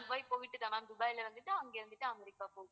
Dubai போய்ட்டு தான் ma'am துபாயில வந்துட்டா அங்க இருந்துட்டு அமெரிக்கா போகும்.